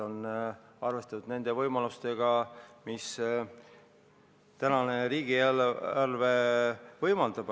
On arvestatud sellega, mida tänane riigieelarve võimaldab.